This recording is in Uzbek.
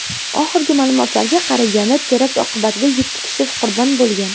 Oxirgi ma’lumotlarga qaraganda, terakt oqibatida yetti kishi qurbon bo‘lgan .